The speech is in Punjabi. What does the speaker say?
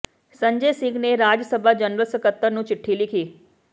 ਸੰਜੈ ਸਿੰਘ ਨੇ ਰਾਜ ਸਭਾ ਜਨਰਲ ਸਕੱਤਰ ਨੂੰ ਚਿੱਠੀ ਲਿਖੀ